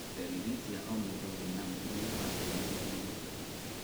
Ndariri cia o mũndũ wĩna mũrimũ wa kĩene nĩ ngũrani.